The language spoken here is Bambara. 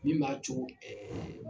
Min m'a co